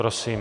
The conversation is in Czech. Prosím.